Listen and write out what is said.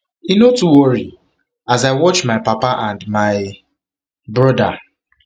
e no too worry as i watch my papa and my broda